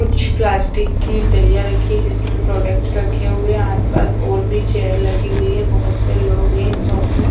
कुछ प्लास्टिक की दलिया रखी है जिसमें प्रोडक्टस रखे हुए है आस पास और भी चेयर लगी हुई है बहोत से लोग हैं इस शॉप में--